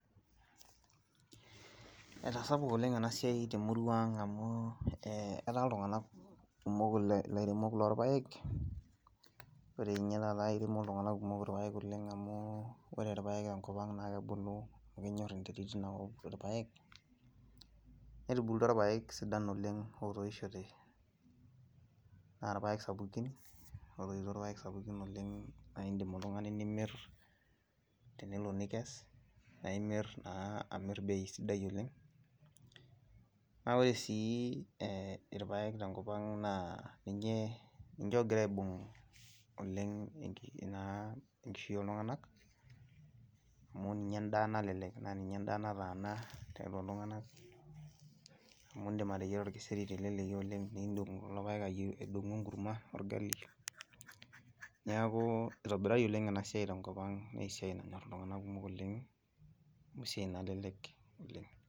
Etasapuka oleng' enasiai temuruang' amuu eeh etaa iltung'ana kumok ilairemok lorpaek, ore ninye taata eiremo iltung'anak kumok irpaek oleng' amu ore irpaek tenkopang' naakebuluu naakenyorr enterit einakop irpaek netubulutua irpaek sidan oleng ootoishote, naarpaek sapukin otoito irpaek sapukin oleng' naaindim oltung'ani nimirr tenelo nikes naimier naa amirr bei sidai oleng'. Naa ore sii eh irpaek tenkopang' naa ninyee ninche ogiraaibung' oleng naa enkishui ooltung'anak amu ninye endaa nalelek naaninye endaa nataana tiatua iltung'anak amu indim ateyiera olkeseri teleleki oleng' niindong' kulo paek aidong'u enkurma orgali. Neakuu eitobirari oleng' enasiai tenkopang' neesiai nanyorr iltung'anak kumok oleng' neesiai nalelek oleng'.